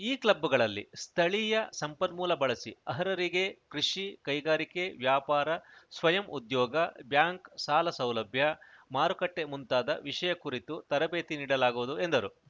ಈ ಕ್ಲಬ್‌ಗಳಲ್ಲಿ ಸ್ಥಳೀಯ ಸಂಪನ್ಮೂಲ ಬಳಸಿ ಅರ್ಹರಿಗೆ ಕೃಷಿ ಕೈಗಾರಿಕೆ ವ್ಯಾಪಾರ ಸ್ವಯಂ ಉದ್ಯೋಗ ಬ್ಯಾಂಕ್‌ ಸಾಲಸೌಲಭ್ಯ ಮಾರುಕಟ್ಟೆಮುಂತಾದ ವಿಷಯ ಕುರಿತು ತರಬೇತಿ ನೀಡಲಾಗುವುದು ಎಂದರು